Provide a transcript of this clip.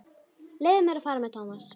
Leyfðu mér að fara með Thomas.